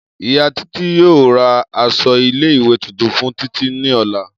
Iya Titi yoo ra aṣọ ile-iwe tuntun fun Titi ni ọla.